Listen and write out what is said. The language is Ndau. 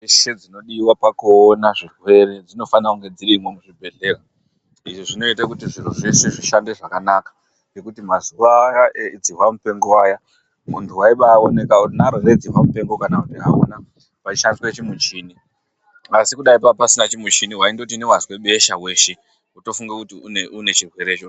...dzeshe dzinodiwa pakuona zvirwere dzinofane kunge dzirimwo muzvibhedhlera. Izvi zvinoite kuti zviro zvese zvihambe zvakanaka. Nekuti mazuva aya edzihwamupengo aya, muntu waibaaoneka kuti unaro here dzihwamupengo kana kuti hauna, pachishandiswe chimuchini. Asi kudai paapasina chimichini waindoti newazwe besha weshe wotofunge kuti une chirwerecho